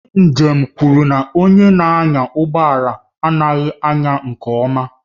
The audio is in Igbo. Ndị njem kwuru na onye na-anya ụgbọ ala anaghị anya nke ọma